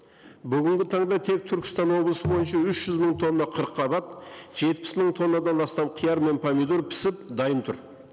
бүгінгі таңда тек түркістан облысы бойынша үш жүз мың тонна қырыққабат жетпіс мың тоннадан астам қияр мен помидор пісіп дайын тұр